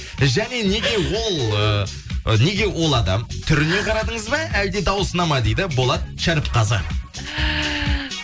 және неге ол ыыы неге ол адам түріне қарадыңыз ба әлде дауысына ма дейді болат шәріпқазы